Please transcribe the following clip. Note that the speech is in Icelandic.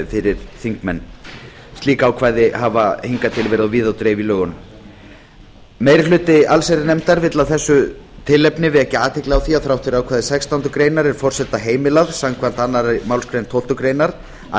fyrir þingmenn slík ákvæði hafa hingað til verið á víð og dreif í lögunum meiri hluti allsherjarnefndar vill af þessu tilefni vekja athygli á að þrátt fyrir ákvæði sextándu grein er forseta heimilað samkvæmt annarri málsgrein tólftu greinar að